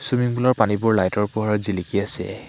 Swimming pool ৰ পানীবোৰ light ৰ পোহৰত জিলিকি আছে।